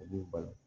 U b'u bali